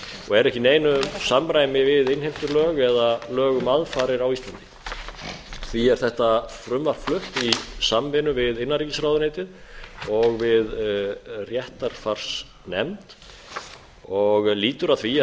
og er ekki í samræmi við innheimtulög eða lög um aðfarir á íslandi því er þetta frumvarp flutt í samvinnu við innanríkisráðuneytið og við réttarfarsnefnd og lýtur að því